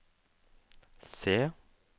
C